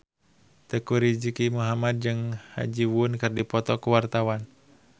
Teuku Rizky Muhammad jeung Ha Ji Won keur dipoto ku wartawan